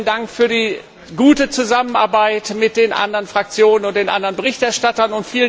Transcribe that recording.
Und auch vielen Dank für die gute Zusammenarbeit mit den anderen Fraktionen und den anderen Berichterstattern.